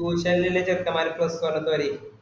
tuition ൽ ഇല്ലെ ചെർക്കന്മാർ plus one കേറി